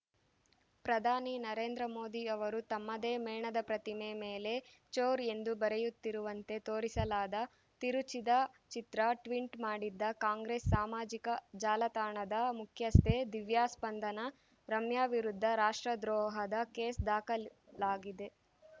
ಪ್ರಧಾನಿ ನರೇಂದ್ರ ಮೋದಿ ಅವರು ತಮ್ಮದೇ ಮೇಣದ ಪ್ರತಿಮೆ ಮೇಲೆ ಚೋರ್‌ ಎಂದು ಬರೆಯುತ್ತಿರುವಂತೆ ತೋರಿಸಲಾದ ತಿರುಚಿದ ಚಿತ್ರ ಟ್ವಿನ್ಟ್ ಮಾಡಿದ್ದ ಕಾಂಗ್ರೆಸ್‌ ಸಾಮಾಜಿಕ ಜಾಲತಾಣದ ಮುಖ್ಯಸ್ಥೆ ದಿವ್ಯಾ ಸ್ಪಂದನಾರಮ್ಯಾ ವಿರುದ್ಧ ರಾಷ್ಟ್ರದ್ರೋಹದ ಕೇಸ್‌ ದಾಖಲಾಗಿದೆ